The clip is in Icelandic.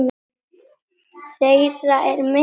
Þeirra er mikill missir.